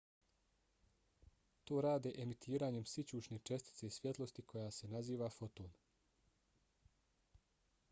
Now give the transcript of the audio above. to rade emitiranjem sićušne čestice svjetlosti koja se naziva foton